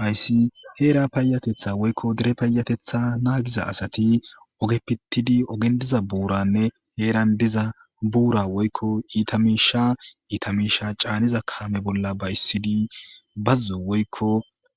Haysi heera paayatetha woykko dere paayatetha naagiza asati oge pittidi ogen diza buuranne heeran diza buura woykko iita miisha iita miisha caaniza kaame bolla ba'issidi bazzo woykko